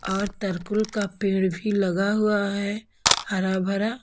और तरकूल का पेड़ भी लगा हुआ है हरा भरा--